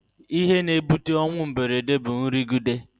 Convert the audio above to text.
Ihe na-akpata ọnwụ mberede bụ nrụgide